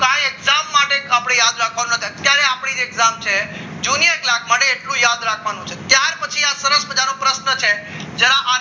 માટે આપણે યાદ રાખવાનું અત્યારે આપણી એક્ઝામ છે junior class માટે એટલું યાદ રાખવાનું છે ત્યાર પછી આ શરત મજાનો પ્રશ્ન છે જરા